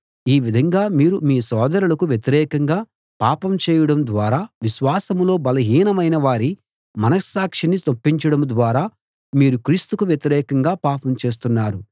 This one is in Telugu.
ఈ విధంగా మీరు మీ సోదరులకు వ్యతిరేకంగా పాపం చేయడం ద్వారా విశ్వాసంలో బలహీనమైన వారి మనస్సాక్షిని నొప్పించడం ద్వారా మీరు క్రీస్తుకు వ్యతిరేకంగా పాపం చేస్తున్నారు